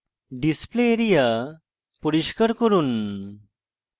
display area পরিষ্কার করুন